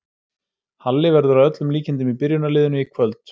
Halli verður að öllum líkindum í byrjunarliðinu í kvöld.